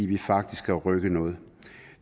kan faktisk rykke noget